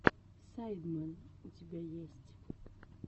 сайдмен у тебя есть